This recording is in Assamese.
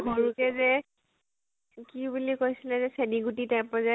সৰুতে যে, কি বুলি কৈছিলে যে, চেনী গুতি type ৰ যে